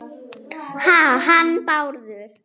Ha- hann Bárður?